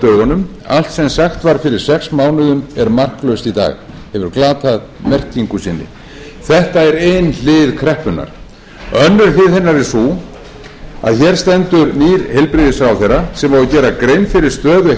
dögunum allt sem sagt var fyrir sex mánuðum er marklaust í dag og hefur glatað merkingu sinni þetta er ein hlið kreppunnar önnur hlið hennar er sú að hér stendur nýr heilbrigðisráðherra sem á að gera grein fyrir stöðu